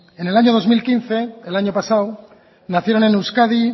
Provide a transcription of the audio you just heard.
en el año dos mil quince el año pasado nacieron en euskadi